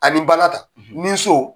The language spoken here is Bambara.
Ani ba la ta, , ni so